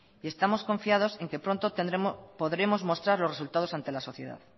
y estamos confiados en que pronto podremos mostrar los resultados ante la sociedad